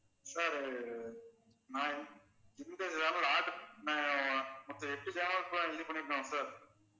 sir நான் அஹ் மொத்த எட்டு channel எல்லாம் sir